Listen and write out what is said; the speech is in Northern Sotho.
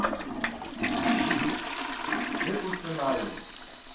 ge a se na yo